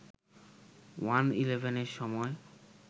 ওয়ান-ইলেভেনের সময়